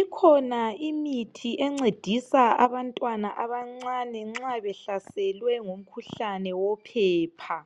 Ikhona imithi encedisa abantwana abancane nxa behlaselwe ngumkhuhlane wophepha.